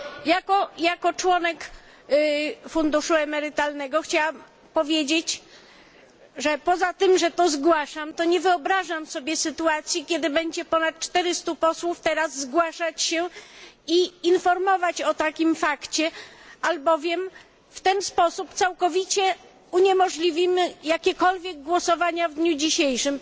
Jako członek funduszu emerytalnego chciałam powiedzieć, że poza tym, że to zgłaszam, to nie wyobrażam sobie sytuacji, kiedy ponad 400 posłów będzie teraz zgłaszać się i informować o takim fakcie, albowiem w ten sposób całkowicie uniemożliwimy jakiekolwiek głosowania w dniu dzisiejszym.